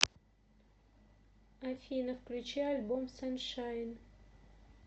афина включи альбом саншайн